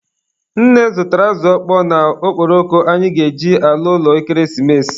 Nne zụtara azụ ọkpọọ na okporoko anyị ga-eji ala ụlọ ekeresimesi.